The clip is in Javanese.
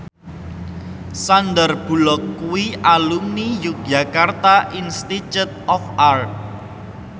Sandar Bullock kuwi alumni Yogyakarta Institute of Art